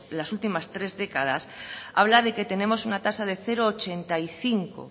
las últimas tres décadas habla de que tenemos una tasa de cero coma ochenta y cinco